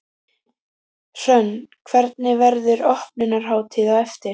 Hrönn, hvernig, verður opnunarhátíð á eftir?